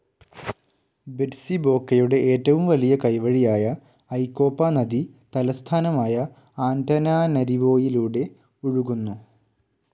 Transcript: ബെറ്റ്സിബോക്കയുടെ ഏറ്റവും വലിയ കൈവഴിയായ ഐകോപ നദി തലസ്ഥാനമായ ആന്റനാനരിവോയിലൂടെ ഒഴുകുന്നു.